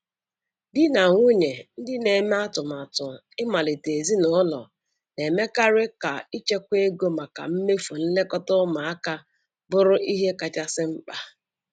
Di na nwunye ndị na-eme atụmatụ ịmalite ezinụlọ na-emekarị ka ichekwa ego maka mmefu nlekọta ụmụaka bụrụ ihe kachasị mkpa.